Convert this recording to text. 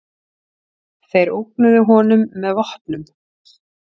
Þeir ógnuðu honum með vopnum.